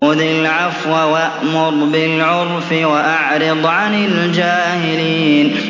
خُذِ الْعَفْوَ وَأْمُرْ بِالْعُرْفِ وَأَعْرِضْ عَنِ الْجَاهِلِينَ